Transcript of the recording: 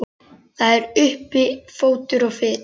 Það er uppi fótur og fit.